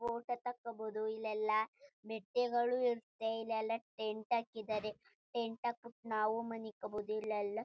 Photo ತಕ್ಕಬೋದು ಇಲ್ಲೇಲ್ಲ ಮೆಟೆಗಳು ಇರುತ್ತೆ ಇಲ್ಲಯೆಲ್ಲ ಟೆಂಟ್ ಹಾಕಿದರೆ ಟೆಂಟ್ ಹಾಕ್ಬಿಟ್ಟು ನಾವು ಮನಿಕಬೋದು ಇಲ್ ಯೆಲ್ಲ.